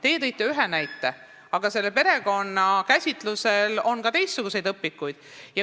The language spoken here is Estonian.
Teie tõite ühe näite, aga perekonna käsitlus on ka teistsugustes õpikutes.